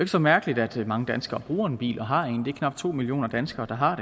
så mærkeligt at mange danskere bruger en bil og har en bil knap to millioner danskere der har